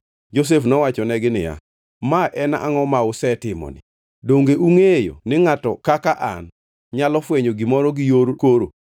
Josef nowachonegi niya, “Ma en angʼo ma usetimoni? Donge ungʼeyo ni ngʼato kaka an nyalo fwenyo gimoro gi yor koro?”